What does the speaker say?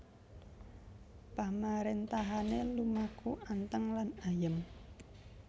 Pamaréntahané lumaku anteng lan ayem